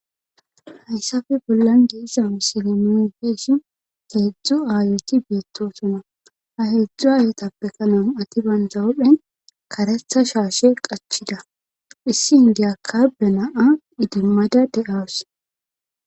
hayssafe bollan geessan silemeonfeeshi keedzdzu aayoti beettosona ha heedzdzu ayetappekanan ati bandza wuphen karetha shaashe qachida issi n geyakka be naa idimmada de7as